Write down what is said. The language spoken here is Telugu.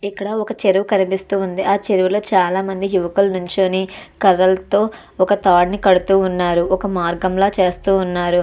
ఇక్కడ ఒక చెరువు కనిపిస్తుంది ఆ చెరువు లో చాలా మంది యువకులు నించుని కర్రలతో ఒక తాడును కడుతూ ఉన్నారు ఒక మార్గం లా చేస్తూ ఉన్నారు.